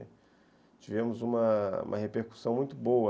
Tivemos uma repercussão muito boa.